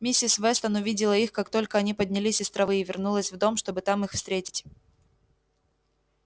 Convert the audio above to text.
миссис вестон увидела их как только они поднялись из травы и вернулась в дом чтобы там их встретить